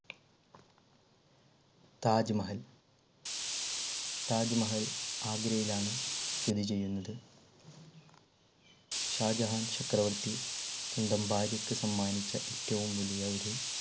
താജ്മഹൽ താജ്മഹൽ ആഗ്രയിലാണ് സ്ഥിതി ചെയ്യുന്നത് ഷാജഹാൻ ചക്രവർത്തി സ്വന്തം ഭാര്യക്ക് സമ്മാനിച്ച ഏറ്റവും വലിയ ഒരു